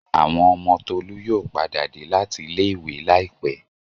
Àwọn ọmọ Tolú yóò padà dé láti ilé-ìwé láìpẹ́.